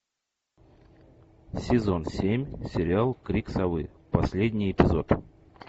сезон семь сериал крик совы последний эпизод